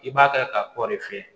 I b'a ta ka kɔri fiyɛ